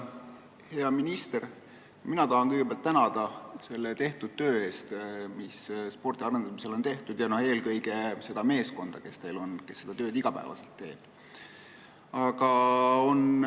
Hea minister, mina tahan kõigepealt tänada selle töö eest, mis spordi arendamisel on tehtud, eelkõige seda meeskonda, kes teil on ja kes seda tööd iga päev teeb.